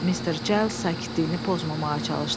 Mister Cales sakitliyini pozmamağa çalışdı.